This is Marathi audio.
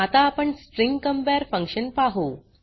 आता आपण स्ट्रिंग कंपेअर फंक्शन पाहु